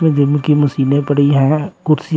gym की मशीनें पड़ी हैं कुर्सीयां--